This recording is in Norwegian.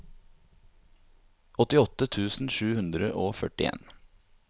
åttiåtte tusen sju hundre og førtien